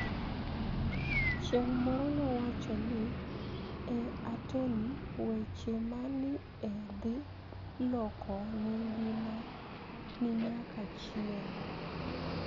Chienig' moro nowacho ni e Atoni weche ma ni e dhi loko nigimagi niyaka chienig'.